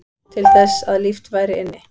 Til þess að líft væri inni